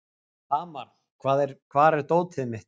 Hamar, hvar er dótið mitt?